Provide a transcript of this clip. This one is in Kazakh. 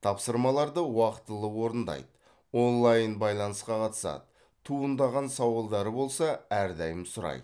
тапсырмаларды уақытылы орындайды онлайн байланысқа қатысады туындаған сауалдары болса әрдайым сұрайды